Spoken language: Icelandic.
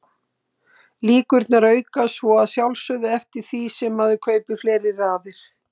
Líkurnar aukast svo að sjálfsögðu eftir því sem maður kaupir fleiri raðir.